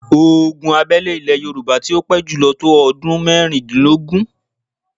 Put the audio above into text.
Ogun abẹ́lé ilè Yorùbá tí ó pé jùlọ tó ọdún mẹ́rìndínlógún.